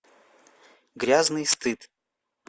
грязный стыд